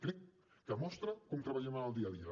crec que mostra com treballem en el dia a dia